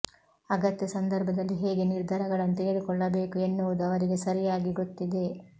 ಅಗತ್ಯ ಸಂದರ್ಭದಲ್ಲಿ ಹೇಗೆ ನಿರ್ಧಾರಗಳನ್ನು ತಗೆದುಕೊಳ್ಳಬೇಕು ಎನ್ನುವುದು ಅವರಿಗೆ ಸರಿಯಾಗಿ ಗೊತ್ತಿದೆ